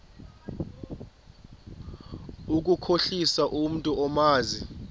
ukukhohlisa umntu omazi